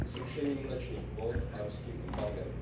Zrušením mléčných kvót a ruským embargem.